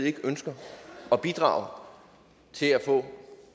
ikke ønsker at bidrage til at få